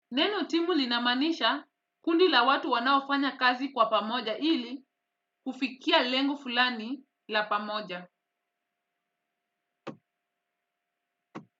Neno timu linamaanisha kundi la watu wanaofanya kazi kwa pamoja ili kufikia lengo fulani la pamoja.